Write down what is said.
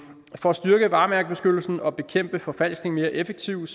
for at styrke varemærkebeskyttelsen og bekæmpe forfalskning mere effektivt